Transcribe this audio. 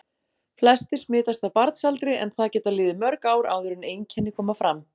Flestir smitast á barnsaldri en það geta liðið mörg ár áður en einkenni koma fram.